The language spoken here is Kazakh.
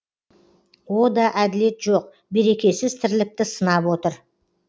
о да әділет жоқ берекесіз тірлікті сынап отыр